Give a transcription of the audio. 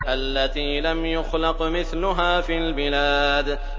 الَّتِي لَمْ يُخْلَقْ مِثْلُهَا فِي الْبِلَادِ